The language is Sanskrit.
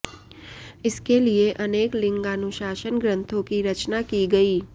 इसके लिए अनेक लिंगानुशासन ग्रंथों की रचना की गई